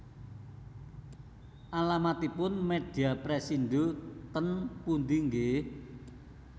Alamatipun Media Pressindo ten pundi nggih